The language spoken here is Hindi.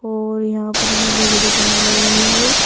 और यहां पर मेले की दुकान लगी हुई है।